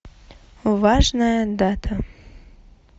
важная дата